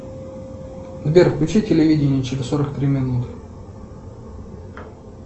сбер включи телевидение через сорок три минуты